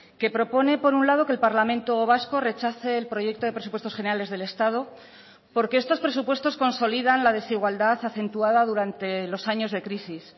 que propone por un lado que el parlamento vasco rechace el proyecto de presupuestos generales del estado porque estos presupuestos consolidan la desigualdad acentuada durante los años de crisis